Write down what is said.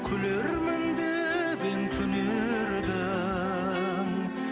күлермін деп ем түнердің